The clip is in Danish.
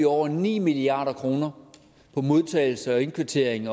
over ni milliard kroner på modtagelse og indkvartering